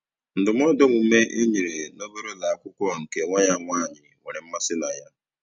Ndụmọdụ omume e nyere n'obere ụlọ akwụkwọ nke nwa ya nwaanyị nwere mmasị na ya.